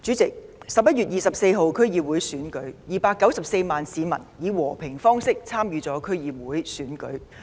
主席 ，11 月24日 ，294 萬市民以和平方式參與區議會選舉。